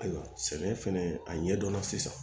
Ayiwa sɛnɛ fɛnɛ a ɲɛdɔn sisan